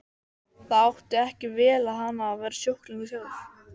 Það átti ekki vel við hana að vera sjúklingur sjálf.